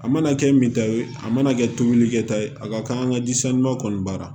A mana kɛ min ta ye a mana kɛ tomikɛta ye a ka kan ka jisanuma kɔni baara